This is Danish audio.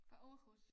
Fra Aarhus